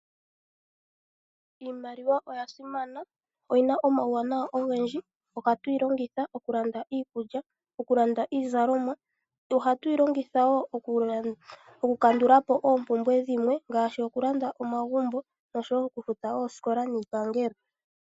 Iimaliwa oya simana noyina omawuwanawa ogendji. Ohatuyi longitha okulanda iikulya, okulanda iizalomwa, ohatuyi longitha wo okukandulapo oompumbwe dhilwe ngaashi okulanda omagumbo noshowo okufuta oosikola niipangelo.